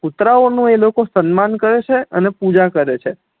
કુતરા ઓ નુ એ લોકો સન્માન કરે છે અને પૂજા કરે છે